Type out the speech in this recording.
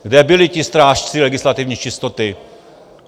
Kde byli ti strážci legislativní čistoty?